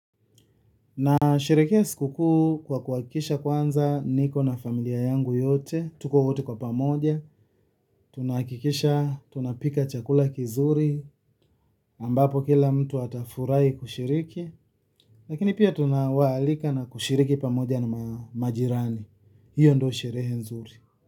Nasherehekea siku kuu kwa kuhakikisha kwanza niko na familia yangu yote, tuko wote kwa pamoja, tunahakikisha, tunapika chakula kizuri, ambapo kila mtu atafurahi kushiriki, lakini pia tunawaalika na kushiriki pamoja na majirani, hiyo ndio sherehe nzuri.